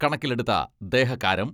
കണക്കിലെടുത്ത ദേഹക്കാരം.